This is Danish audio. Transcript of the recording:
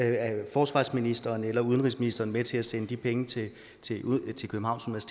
forsvarsministeren eller udenrigsministeren med til at sende de penge til københavns